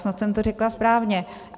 Snad jsem to řekla správně.